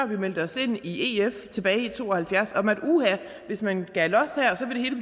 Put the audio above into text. vi meldte os ind i ef tilbage i nitten to og halvfjerds om at hvis man gav los her så ville det